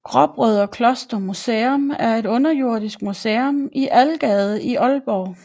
Gråbrødrekloster Museum er et underjordisk museum i Algade i Aalborg